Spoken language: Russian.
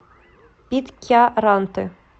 питкяранты